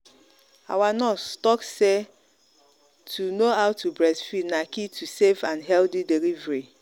our nurse talk say to know how to breastfeed na key to safe and healthy delivery